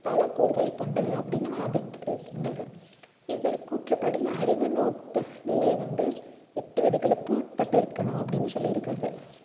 பல கூறுகளைக் கொண்டது அப்படின்னும் இவர் கூற்றுப்படி அறிவுநுட்ப நிலை வந்து எட்டு விதிகளுக்கு உட்பட்டு இருக்கணும் அப்படின்னு சொல்லியிருக்காரு